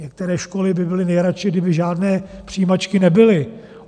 Některé školy by byly nejradši, kdyby žádné přijímačky nebyly.